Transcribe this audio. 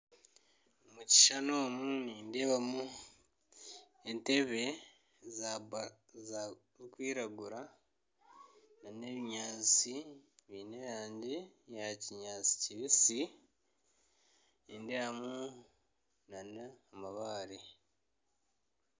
Omu kishushani omu nindeebamu entebe zirikwiragura n'ebinyaatsi by'erangi ya kinyaatsi kibisi nindeebamu nana amabare